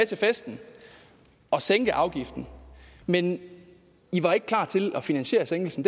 til festen og sænke afgiften men i var ikke klar til at finansiere sænkelsen